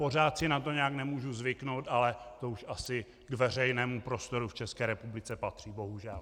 Pořád si na to nějak nemůžu zvyknout, ale to už asi k veřejnému prostoru v České republice patří, bohužel.